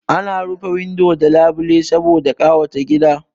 Ana rufe windo da labile saboda ƙawata gida